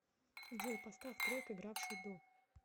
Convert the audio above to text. джой поставь трек игравший до